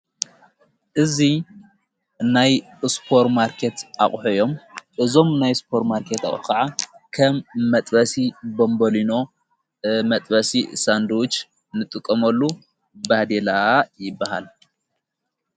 እዙይ ናይ እስጶር ማርከት ኣቕሐዮም እዞም ናይ ስጶር ማርከት ኣ ኸዓ ከም መጥበሲ ቦንበሊኖ መጥበሲ ሳንድዉጅ ንጥቐመሉ ባዲላ ይበሃል።